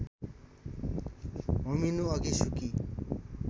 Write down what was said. होमिनुअघि सुकी